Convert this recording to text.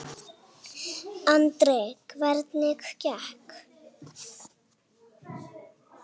Andri: Hvernig gekk?